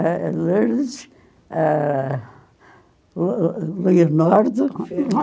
Eh, Lourdes... Eh, o Leonardo